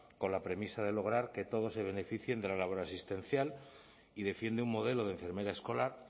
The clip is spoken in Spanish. con la premisa de lograr que todos se beneficien de la labor asistencial y defiende un modelo de enfermera escolar